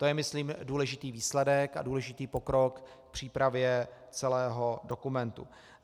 To je myslím důležitý výsledek a důležitý pokrok k přípravě celého dokumentu.